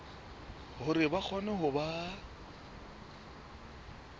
hore ba kgone ho ba